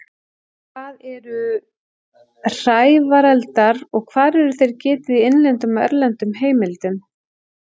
Hvað eru hrævareldar og hvar er þeirra getið í innlendum og erlendum heimildum?